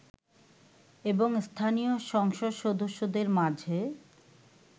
এবং স্থানীয় সংসদ সদস্যদের মাঝে